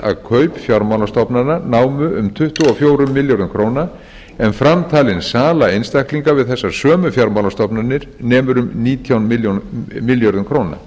að kaup fjármálastofnana námu um tuttugu og fjórum milljörðum króna en framtalin sala einstaklinga við þessar sömu fjármálastofnanir nemur um nítján milljörðum króna